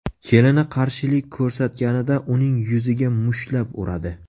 Kelini qarshilik ko‘rsatganida uning yuziga mushtlab uradi.